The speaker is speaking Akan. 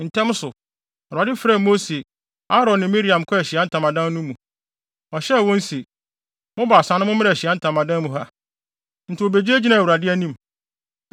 Ntɛm so, Awurade frɛɛ Mose, Aaron ne Miriam kɔɔ Ahyiae Ntamadan no mu. Ɔhyɛɛ wɔn se, “Mo baasa no mommra Ahyiae Ntamadan mu ha.” Enti wobegyinagyinaa Awurade anim.